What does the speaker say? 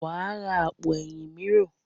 Wàá ra àpò ẹ̀yìn mìíràn.